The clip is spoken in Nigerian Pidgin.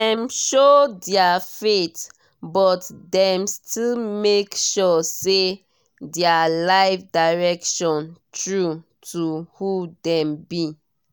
dem show their faith but dem still make sure say their life direction true to who dem be.